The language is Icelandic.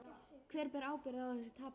Hver ber ábyrgðina á þessu tapi?